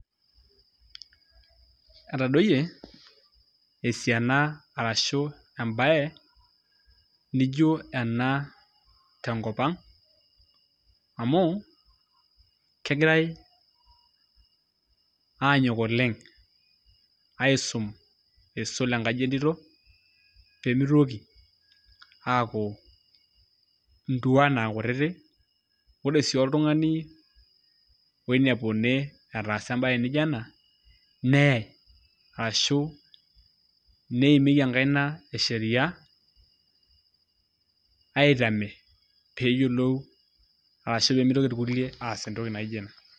Etadoyie esiana arashu embaye nijo ena tenkop ang' amu kegirai aanyok oleng' aisum isul enkaji entito pee mitoki aaku ntuan aa kutitik, ore sii oltung'ani oinepuni etaasa embaye nijo ena neye arashu neimieki enkaina e sheria aitame peeyolou ashu pee mitoki irkulie aas entoki naijo ina.